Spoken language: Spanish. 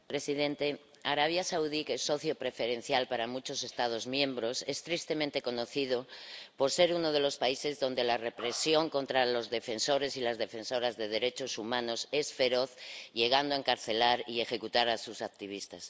Señor presidente, Arabia Saudí, que es socio preferencial para muchos Estados miembros, es tristemente conocido por ser uno de los países donde la represión contra los defensores y las defensoras de derechos humanos es feroz, llegando a encarcelar y a ejecutar a sus activistas.